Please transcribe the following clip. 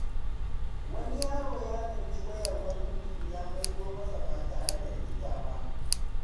Wani yaro ya tsinci wayar wani mutum ya maido masa ba tare da rikita ba.